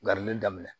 Garili daminɛ